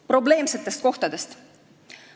Probleemsetest kohtadest.